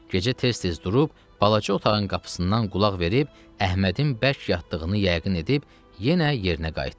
Gecə tez-tez durub balaca otağın qapısından qulaq verib, Əhmədin bərk yatdığını yəqin edib yenə yerinə qayıtdı.